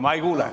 Ma ei kuule.